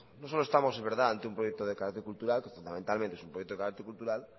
no solo estamos de verdad ante un proyecto de carácter cultural que fundamentalmente es un proyecto de carácter cultural